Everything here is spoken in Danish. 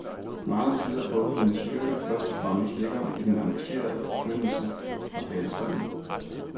Meget tyder på, at hendes styrke først og fremmest ligger i den engagerede forkyndelse fra talerstolen.